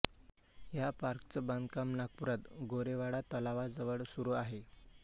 या पार्कचं बांधकाम नागपुरात गोरेवाडा तलावा जवळ सुरू आहे